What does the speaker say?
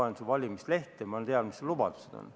Ma lugesin su valimislehte, ma tean, mis su lubadused olid.